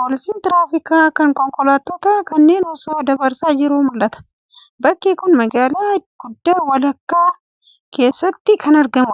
poolisiin tiraafikaa kun konkolaattota kanneen osoo dabarsaa jiruu mul'ata. Bakki kun, magaalaa guddaa walakkaa keessatti kan argamuu dha.